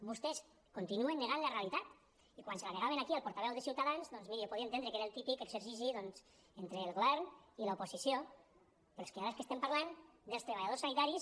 vostès continuen negant la realitat i quan l’hi negaven aquí al portaveu de ciutadans doncs miri ho podia entendre que era el típic exercici entre el govern i l’oposició però és que ara del que estem parlant és dels treballadors sanitaris